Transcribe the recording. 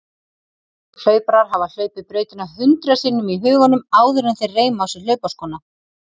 Hlauparar hafa hlaupið brautina hundrað sinnum í huganum áður en þeir reima á sig hlaupaskóna.